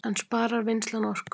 En sparar vinnslan orku